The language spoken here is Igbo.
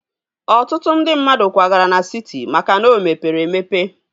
Ọtụtụ ndị mmadụ kwagara na siti maka na o mepere emepe